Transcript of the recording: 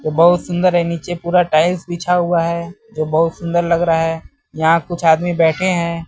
बहुत सुंदर है नीचे पूरा टाइल्स बिछा हुआ है जो बहुत सुंदर लग रहा है यहां कुछ आदमी बैठे हैं।